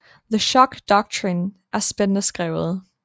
The Shock Doctrine er spændende skrevet